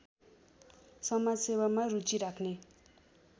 समाजसेवामा रुचि राख्‍ने